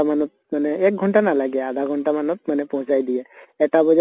মানত মানে এক ঘন্টা নালাগে আধা ঘন্টা মানত মানে দিয়ে । এটা বজা